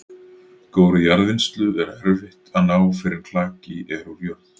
Góðri jarðvinnslu er erfitt að ná fyrr en klaki er úr jörð.